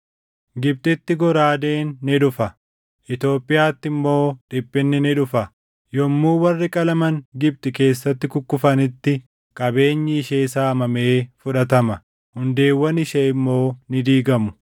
Gibxitti goraadeen ni dhufa; Itoophiyaatti immoo dhiphinni ni dhufa. Yommuu warri qalaman Gibxi keessatti kukkufanitti, qabeenyi ishee saamamee fudhatama; hundeewwan ishee immoo ni diigamu.